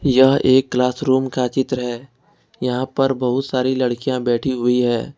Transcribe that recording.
यह एक classroom का चित्र है यहां पर बहुत सारी लड़कियां बैठी हुई है।